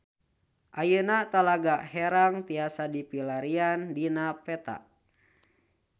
Ayeuna Talaga Herang tiasa dipilarian dina peta